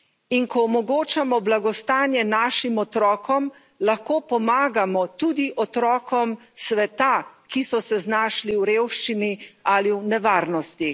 In ko omogočamo blagostanje našim otrokom, lahko pomagamo tudi otrokom sveta, ki so se znašli v revščini ali v nevarnosti.